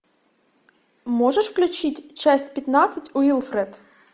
можешь включить часть пятнадцать уилфред